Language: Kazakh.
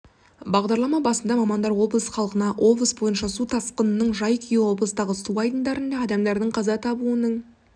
бағдарлама басында мамандар облыс халқына облыс бойынша су тасқынының жай-күйі облыстағы су айдындарында адамдардың қаза табуының